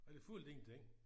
Og den fyldte ingenting